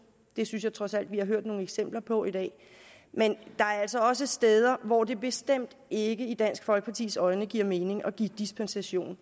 det synes jeg trods alt vi har hørt nogle eksempler på i dag men der er altså også steder hvor det bestemt ikke i dansk folkepartis øjne giver mening at give dispensation